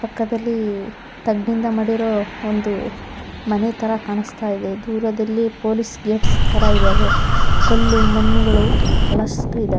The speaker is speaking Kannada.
ಪಕ್ಕದಳ್ಳಿ ತಗಡ್ ಇಂದ ಮಾಡಿರೋ ಒಂದು ಮನೆ ತರಾ ಕಾಣಿಸ್ತ ಇದೆ ದೂರದಲ್ಲಿ ಪೊಲೀಸ್ ಗೇಟ್ಸ್ ತರಾ ಇದಾವೆ ಕಲ್ಲು ಮಣ್ಣುಗಳು ಬಹಳಷ್ಟು ಇದಾ --